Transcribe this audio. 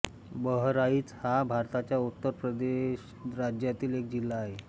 बहराईच हा भारताच्या उत्तर प्रदेश राज्यातील एक जिल्हा आहे